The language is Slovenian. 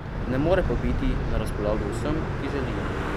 Ne more pa biti na razpolago vsem, ki želijo.